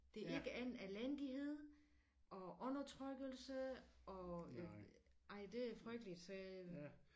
Det er ikke andet elendighed og undertrykkelse og ej det frygteligt så